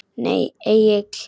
Nei Egill.